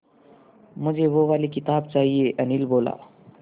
मुझे वो वाली किताब चाहिए अनिल बोला